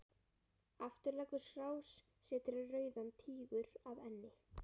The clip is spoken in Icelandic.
Aftur leggur skrásetjari Rauðan Tígur að enni.